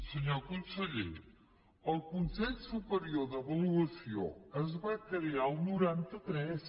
senyor conseller el consell superior d’avaluació es va crear al noranta tres